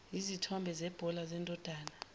yizithombe zebhola zendodana